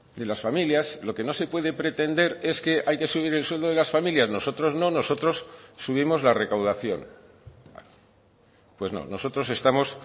de las familias lo que no se puede pretender es que hay que subir el sueldo de las familias nosotros no nosotros subimos la recaudación pues no nosotros estamos